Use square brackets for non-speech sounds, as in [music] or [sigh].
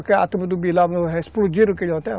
A turma do [unintelligible] explodiram aquele hotel.